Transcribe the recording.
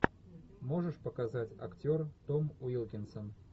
можешь показать актер том уилкинсон